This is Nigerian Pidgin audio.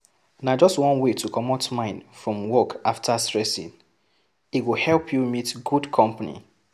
Na just one wey to comot mind from work after stressing, e go help you meet good company